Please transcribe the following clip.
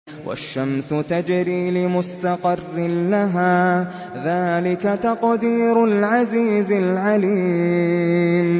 وَالشَّمْسُ تَجْرِي لِمُسْتَقَرٍّ لَّهَا ۚ ذَٰلِكَ تَقْدِيرُ الْعَزِيزِ الْعَلِيمِ